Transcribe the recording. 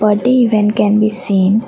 budday event can be seen.